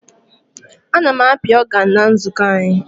A na m api ọganụ na nzukọ anyị.